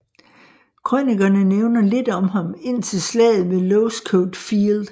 Krønikerne nævner lidt om ham indtil Slaget ved Losecoat Field